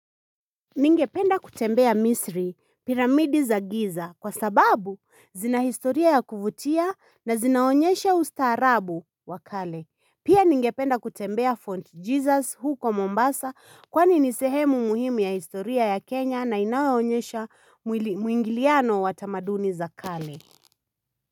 Ningependa kutembea misri, piramidi za giza kwa sababu zina historia ya kuvutia na zinaonyesha usta arabu wa kale. Pia ningependa kutembea font Jesus huko Mombasa kwani nisehemu muhimu ya historia ya Kenya na inaonyesha mwingiliano watamaduni za kale.